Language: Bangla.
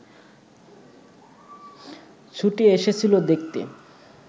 ছুটে এসেছিল দেখতে